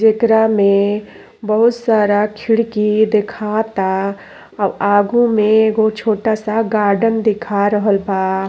जेकरा में बोहुत सारा खिड़की देखाता। आगो में एगो छोटा सा गार्डेन दिखा रहल बा।